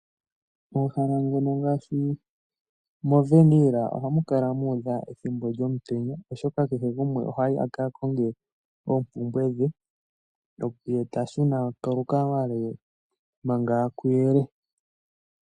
Omahala ngono ngaashi moWernhil ohamu kala muudha ethimbo lyomutenya oshoka kehe gumwe ohayi aka konge oompumbwe dhe ye tashuna kolukalwa lwe manga kuyele.